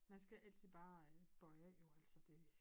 Man skal altid bare øh bøje af jo altså det